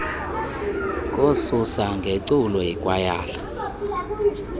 kokususwa ngeculo yikwayala